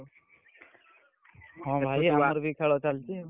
ହଁ, ଭାଇ ଖେଳ ଚାଲିଛି ଆଉ।